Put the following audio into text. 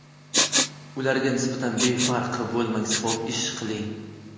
Ularga nisbatan befarq bo‘lmang, savob ish qiling.